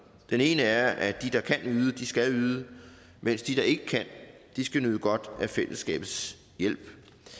den ene er at de der kan yde skal yde mens de der ikke kan skal nyde godt af fællesskabets hjælp